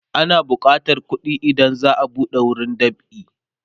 ana bukatan kuɗi idan za'a buɗe wurin dab'i